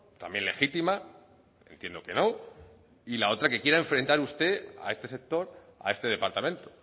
también legítima entiendo que no y la otra que quiera enfrentar usted a este sector a este departamento